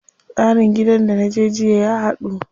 Tsarin gidan da naje jiya ya haɗu.